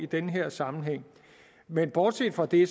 den her sammenhæng men bortset fra det